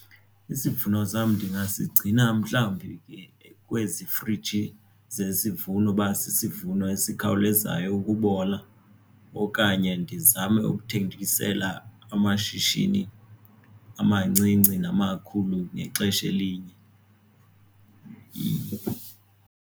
Isivuno sam ndingasigcina mhlawumbi kwezi friji zezivuno uba sisivuno esikhawulezayo ukubola okanye ndizame ukuthengisela amashishini amancinci namakhulu ngexesha elinye.